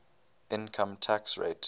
income tax rate